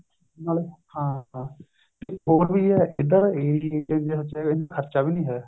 ਨਾਲੇ ਹਾਂ ਇੱਕ ਹੋਰ ਵੀ ਹੈ ਇੱਧਰ ਦੇ area ਚ ਇੰਨਾ ਖਰਚਾ ਵੀ ਨੀ ਹੈ